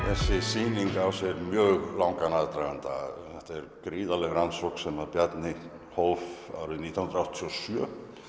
þessi sýning á sér mjög langan aðdraganda þetta er gríðarleg rannsókn sem Bjarni hóf árið nítján hundruð áttatíu og sjö